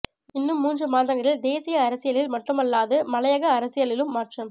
இன்னும் மூன்று மாதங்களில் தேசிய அரசியலில் மட்டுமல்லாது மலையக அரசியலிலும் மாற்றம்